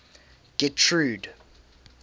getrude